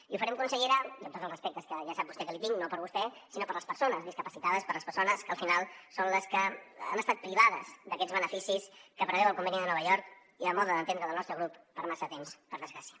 i ho farem consellera amb tots els respectes que ja sap vostè que li tinc no per vostè sinó per les persones discapacitades per les persones que al final són les que han estat privades d’aquests beneficis que preveu el conveni de nova york i a mode d’entendre del nostre grup per massa temps per desgràcia